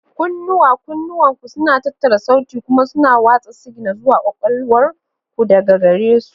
Kunnuwa: Kunnuwanku suna tattara sauti kuma suna watsa sigina zuwa kwakwalwar ku daga gare su.